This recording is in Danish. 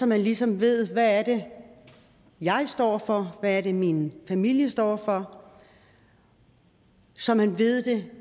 man ligesom ved hvad er det jeg står for hvad er det min familie står for så man ved det